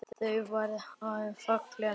Þau verða að vera falleg.